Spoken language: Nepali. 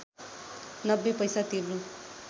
९० पैसा तिर्नु